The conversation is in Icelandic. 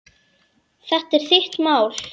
Þetta er þitt mál.